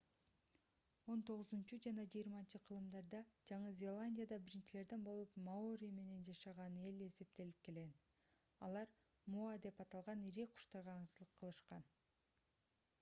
он тогузунчу жана жыйырманчы кылымдарда жаңы зеландияда биринчилерден болуп маори эли жашаган деп эсептелип келген алар моа деп аталган ири куштарга аңчылык кылышкан